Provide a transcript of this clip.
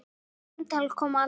Það símtal kom aldrei.